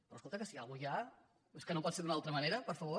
però escolta que si alguna cosa hi ha és que no pot ser d’una altra manera per favor